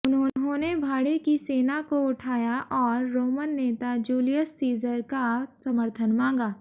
उन्होंने भाड़े की सेना को उठाया और रोमन नेता जूलियस सीज़र का समर्थन मांगा